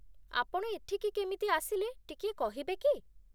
ଆପଣ ଏଠିକି କେମିତି ଆସିଲେ ଟିକିଏ କହିବେ କି?